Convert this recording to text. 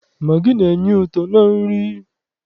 Magị na-enye ụtọ na nri.